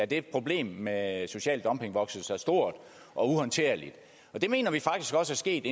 da problemet med social dumping voksede sig stort og uhåndterligt og det mener vi faktisk også er sket